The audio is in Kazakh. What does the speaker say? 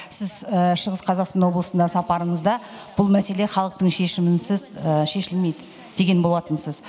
сіз шығыс қазақстан облысына сапарыңызда бұл мәселе халықтың шешімінсіз шешілмейді деген болатынсыз